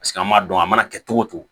Paseke an m'a dɔn a mana kɛ cogo o cogo